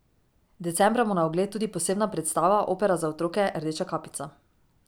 Decembra bo na ogled tudi posebna predstava, opera za otroke Rdeča kapica.